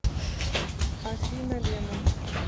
афина лена